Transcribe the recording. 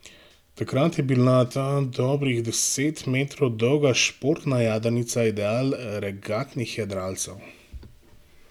Takrat je bila ta dobrih deset metrov dolga športna jadrnica ideal regatnih jadralcev.